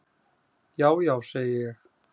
"""Já, já, segi ég."""